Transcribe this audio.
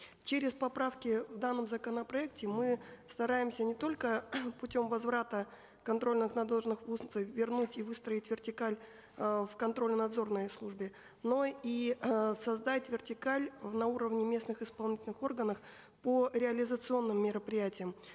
через поправки в данном законопроекте мы стараемся не только путем возврата контрольно надзорных функций и выстроить вертикаль э в контрольно надзорной службе но и э создать вертикаль на уровне местных исполнительных органов по реализационным мероприятиям